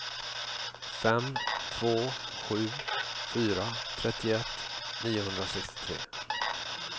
fem två sju fyra trettioett niohundrasextiotre